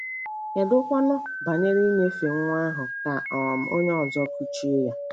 Kedụkwanụ banyere inyefe nwa ahụ ka um onye ọzọ kụchie ya?